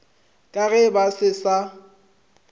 ka ge ba se sa